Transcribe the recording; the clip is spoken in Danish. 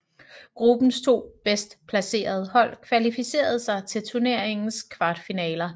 Gruppens to bedst placerede hold kvalificererede sig til turneringens kvartfinaler